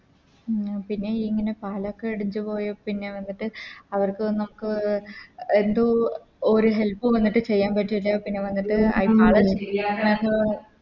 ആ പിന്നെ ഇങ്ങനെ പാലൊക്കെ ഇടിച്ച് പോയ പിന്നെ വന്നിട്ട് അവക്ക് നമുക്ക് അഹ് ന്തു ഒരു Help വന്നിട്ട് ചെയ്യാൻ പറ്റൂല പിന്നെ വന്നിട്ട്